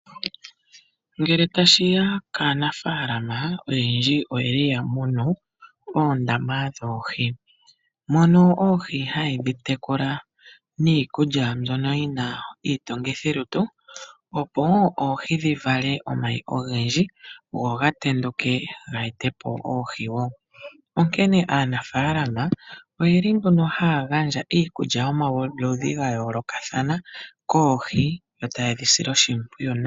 Ngele tashi ya kaanafaalama oyendji oya munu oondama dhoohi, mono oohi haye dhi tekula niikulya mbyono yi na iitungithilutu, opo oohi dhi vale omayi ogendji go ga tenduke ge ete po oohi woo, onkene aanafaalama ohaya gandja iikulya yomaludhi ga yoolokathana koohi yo taye dhi sile oshimpwiyu nawa.